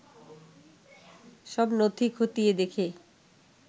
সব নথি খতিয়ে দেখে